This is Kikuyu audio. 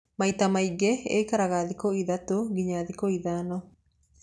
Maita maingĩ ikaraga thikũ ithatũ nginya thikũ ithano.